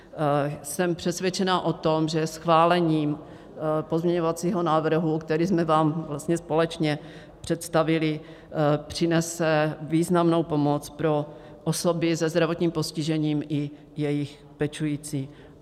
Jsem přesvědčena o tom, že schválení pozměňovacího návrhu, který jsme vám vlastně společně představili, přinese významnou pomoc pro osoby se zdravotním postižením i jejich pečující.